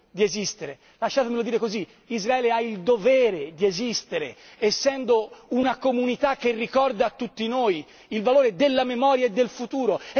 di esistere lasciatemelo dire così Israele ha il dovere di esistere, essendo una comunità che ricorda tutti noi il valore della memoria e del futuro.